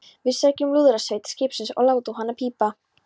Við sækjum lúðrasveit skipsins og látum hana pípa!